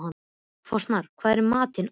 Fossmar, hvað er í matinn á miðvikudaginn?